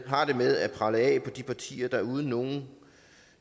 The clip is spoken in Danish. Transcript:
har det med at prelle af på de partier der uden nogen